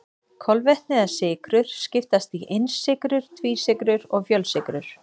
Kolvetni eða sykrur skiptast í einsykrur, tvísykrur og fjölsykrur.